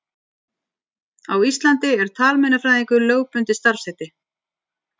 Á Íslandi er talmeinafræðingur lögbundið starfsheiti.